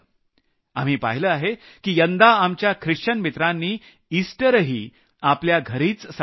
आपण पाहिलं आहे की यंदा आमच्या ख्रिश्चन मित्रांनी इस्टरही आपल्या घरीच साजरा केला